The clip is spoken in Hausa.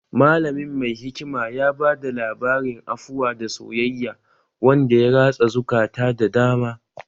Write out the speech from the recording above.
Malamin mai hikima ya bada labarin afuwa da soyayya wanda ya ratsa zukata da dama